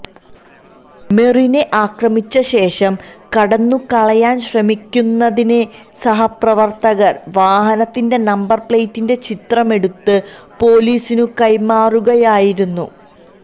മെറിനെ ആക്രമിച്ച ശേഷം കടന്നുകളയാന് ശ്രമിക്കുന്നതിനിടെ സഹപ്രവര്ത്തകര് വാഹനത്തിന്റെ നമ്പര് പ്ലേറ്റിന്റെ ചിത്രമെടുത്തു പോലീസിനു കൈമാറുകയായിരുന്നു